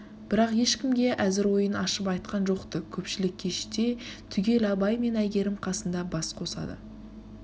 бірақ ешкімге әзір ойын ашып айтқан жоқ-ты көпшілік кеште түгел абай мен әйгерім қасында бас қосады